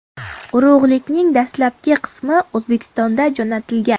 Urug‘likning dastlabki qismi O‘zbekistonga jo‘natilgan.